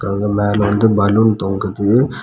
அங்க மேல வந்து பலூன் தொங்குது.